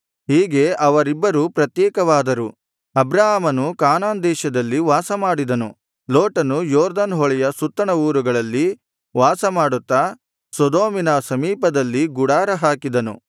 ಹೀಗೆ ಅವರಿಬ್ಬರೂ ಪ್ರತ್ಯೇಕವಾದರು ಅಬ್ರಾಮನು ಕಾನಾನ್ ದೇಶದಲ್ಲಿ ವಾಸಮಾಡಿದನು ಲೋಟನು ಯೊರ್ದನ್ ಹೊಳೆಯ ಸುತ್ತಣ ಊರುಗಳಲ್ಲಿ ವಾಸ ಮಾಡುತ್ತಾ ಸೊದೋಮಿನ ಸಮೀಪದಲ್ಲಿ ಗುಡಾರ ಹಾಕಿದನು